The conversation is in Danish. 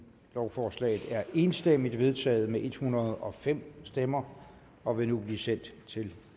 lovforslaget er enstemmigt vedtaget med en hundrede og fem stemmer og vil nu blive sendt til